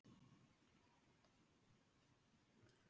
Höskuldur: Af hverju mátti Ástþór ekki sitja fundinn?